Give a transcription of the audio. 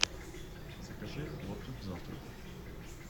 закажи хлопья к завтраку